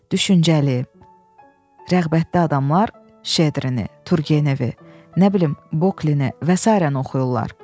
Düşüncəli, rəğbətdi adamlar Şedrini, Turgevi, nə bilim, Bolini və sairəni oxuyurlar.